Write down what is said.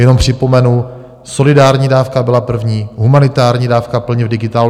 Jenom připomenu: solidární dávka byla první humanitární dávka plně v digitálu.